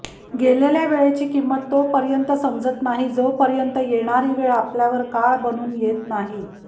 गेलेल्या वेळेची किंमत तोपर्यंत समजत नाही जोपर्यंत येणारी वेळ आपल्यावर काळ बनून येत नाही